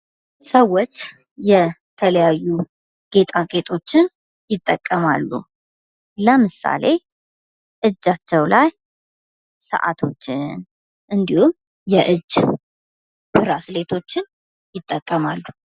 ሰዎች የተለያዩ ጌጣጌጦችን ይጠቀማሉ። ለምሳሌ እጃቸው ላይ ሰዓቶችን እንዲሁም የእጅ ብራስሌቶችን ይጠቀማሉ።